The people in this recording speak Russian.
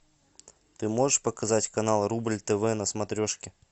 ты можешь показать канал рубль тв на смотрешке